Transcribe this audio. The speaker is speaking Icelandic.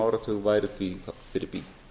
áratug væri því fyrir bí